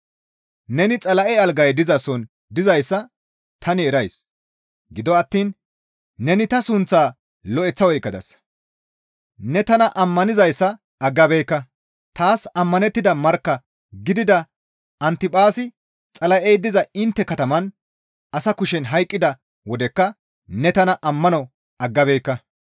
Neni Xala7e algay dizason dizayssa tani erays; gido attiin neni ta sunththaa lo7eththa oykkadasa; ne tana ammanizayssa aggabeekka; taas ammanettida markka gidida Antiphaasi Xala7ey diza intte kataman asa kushen hayqqida wodekka ne tana ammano aggabeekka.